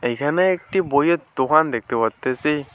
এখানে একটি বইয়ের দোকান দেখতে পারতেছি।